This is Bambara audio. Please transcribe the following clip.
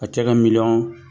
A cɛ ka miliyɔn